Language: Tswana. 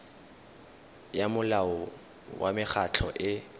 ya molao wa mekgatlho e